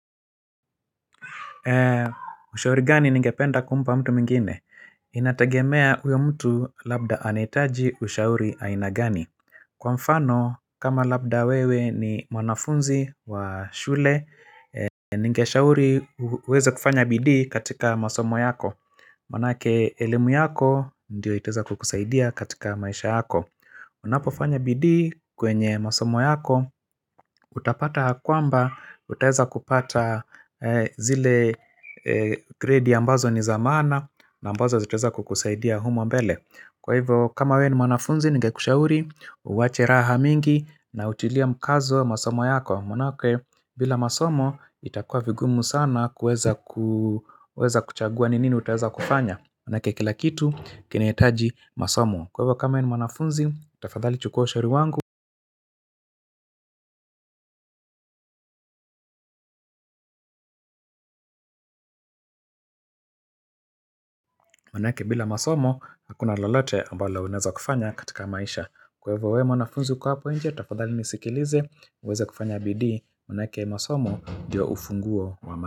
Ushauri gani ningependa kumpa mtu mwingine? Inategemea huyo mtu labda anahitaji ushauri aina gani? Kwa mfano kama labda wewe ni mwanafunzi wa shule Ningeshauri uweze kufanya bidii katika masomo yako Manake elimu yako ndio itaeza kukusaidia katika maisha yako Unapofanya bidii kwenye masomo yako Utapata ya kwamba, utaeza kupata zile gredi ambazo ni za maana na ambazo zitaeza kukusaidia humo mbele Kwa hivyo, kama we ni mwanafunzi, ningekushauri Uwache raha mingi na utilia mkazo masomo yako Manaake, bila masomo, itakua vigumu sana kuweza kuchagua ni nini utaeza kufanya Manaake, kilakitu, kinahitaji masomo Kwa hivyo, kama we ni manafunzi, tafadhali chukua ushauri wangu Manaake bila masomo hakuna lolote ambalo unaeza kufanya katika maisha kwa ivo we mwanafuzi kwa hapo nje tafadhali nisikilize uweze kufanya bidi manaake masomo ndio ufunguo wa maisha.